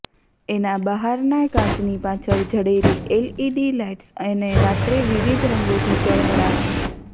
એના બહારના કાચની પાછળ જડેલી એલઇડી લાઇટ્સ એને રાત્રે વિવિધ રંગોથી ઝળહળાવશે